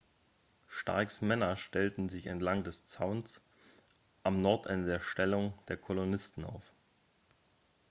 starks männer stellten sich entlang des zauns am nordende der stellung der kolonisten auf